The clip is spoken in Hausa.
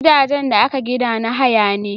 Gidajen da aka gina na haya ne